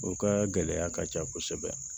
O ka gɛlɛya ka ca kosɛbɛ